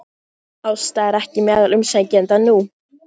Ásta er ekki meðal umsækjenda nú